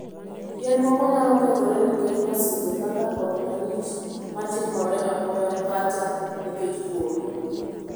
Yien moko nyalo kethore nikech masiche kaka koth malich ma timore apoya kata nikech oro.